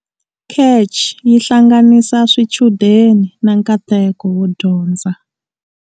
CACH yi hlanganisa swichudeni na nkateko wo dyondza.